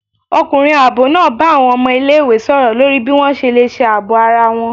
Ọkunrín aabọ náá bá awọn ọmọ ìlé-ìwé sọrọ lorí bi wọn ṣe le ṣe aabọ ará wọn